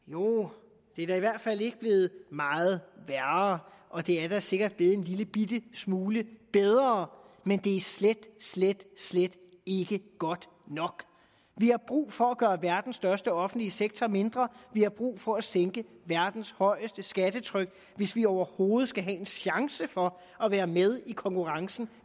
jo det er da i hvert fald ikke blevet meget værre og det er da sikkert blevet en lillebitte smule bedre men det er slet slet slet ikke godt nok vi har brug for at gøre verdens største offentlige sektor mindre vi har brug for at sænke verdens højeste skattetryk hvis vi overhovedet skal have en chance for at være med i konkurrencen